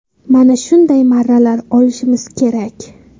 Mana shunday marralar olishimiz kerak.